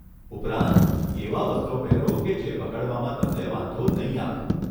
ઉપરાંત, એવાં વસ્ત્રો પહેરો કે જે બગડવામાં તમને વાંધો નહીં આવે!